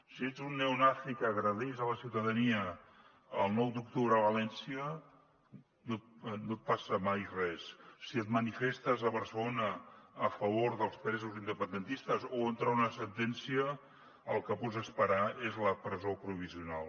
si ets un neonazi que agredeix la ciutadania el nou d’octubre a valència no et passa mai res si et manifestes a barcelona a favor dels presos independentistes o contra una sentència el que pots esperar és la presó provisional